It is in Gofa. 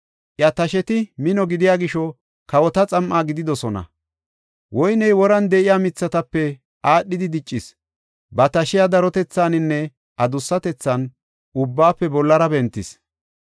Iya tasheti mino gidiya gisho kawota xam7a gididosona. Woyney woran de7iya mithatape aadhidi diccis; ba tashiya darotethaaninne adussatethan ubbaafe bollara bentis.